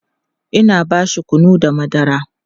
Ina bashi kunu da madara